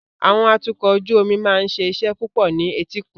Àwọn atukọ̀ ojú omi máa ń ṣe iṣẹ́ púpọ̀ ní etíkun.